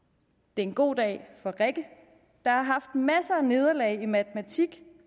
det er en god dag for rikke der har haft masser af nederlag i matematik